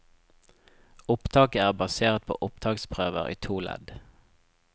Opptaket er basert på opptaksprøver i to ledd.